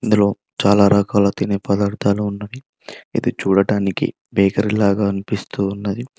ఇందులో చాలా రకాల తినే పదార్థాలు ఉన్నది ఇది చూడటానికి బేకరి లాగా అనిపిస్తూ ఉన్నది.